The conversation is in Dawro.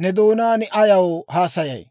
ne doonaan ayaw haasayay?